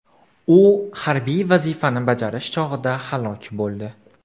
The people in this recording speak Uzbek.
U harbiy vazifani bajarish chog‘ida halok bo‘ldi.